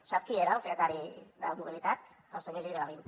sap qui era el secretari de mobilitat el senyor isidre gavín